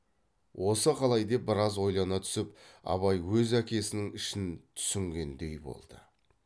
осы қалай деп біраз ойлана түсіп абай өз әкесінің ішін түсінгендей болды